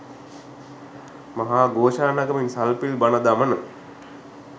මහා ඝෝෂා නගමින් සල්පිල් බණ, දමන